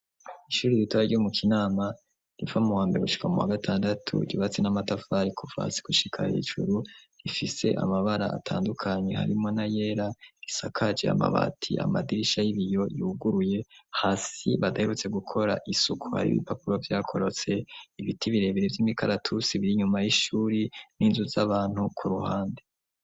Ishuri ritare ryumu kinama rifamuwambe gushika mu wa gatandatu yubatsi n'amatavari kuvasi kushika hisuru rifise amabara atandukanye harimo na yera risakaji amabati amadirisha y'ibiyo yuguruye hasi badaherutse gukora isuku ari ibipapuro byakorotse ibiti birebere by'imikaratu sibiri nyuma y'ishuri n'inzu z'abantu ku ruhande.